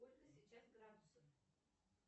сколько сейчас градусов